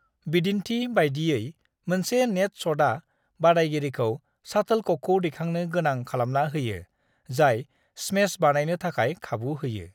"बिदिन्थि बायदियै, मोनसे नेट शटआ बादायगिरिखौ शाटोलककखौ दैखांनो गोनां खालामना होयो, जाय स्मेश बानायनो थाखाय खाबु होयो।"